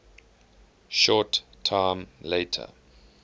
short time later